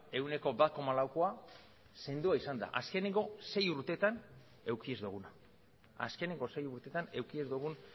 ehuneko bat koma laukoa sendoa izan da azkeneko sei urteetan eduki ez duguna azkeneko sei urteetan eduki ez dugun